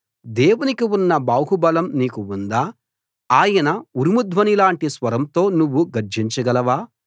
దేవునికి ఉన్న బాహుబలం నీకు ఉందా ఆయన ఉరుము ధ్వనిలాంటి స్వరంతో నువ్వు గర్జించగలవా